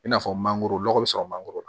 I n'a fɔ mangoro nɔgɔ bɛ sɔrɔ mangoro la